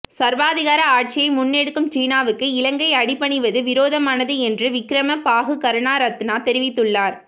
சர்வாதிகார ஆட்சியை முன்னெடுக்கும் சீனாவுக்கு இலங்கை அடிபணிவது விரோதமானது என்று விக்கிரமபாகு கருணாரத்ன தெரிவித்துள்ளார்